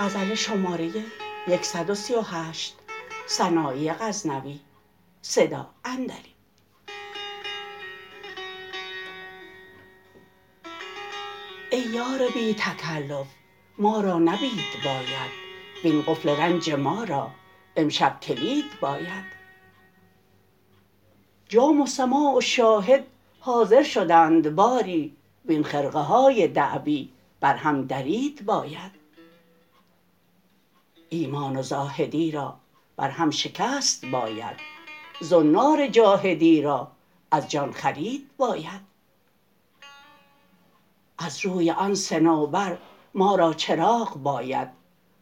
ای یار بی تکلف ما را نبید باید وین قفل رنج ما را امشب کلید باید جام و سماع و شاهد حاضر شدند باری وین خرقه های دعوی بر هم درید باید ایمان و زاهدی را بر هم شکست باید زنار جاحدی را از جان خرید باید از روی آن صنوبر ما را چراغ باید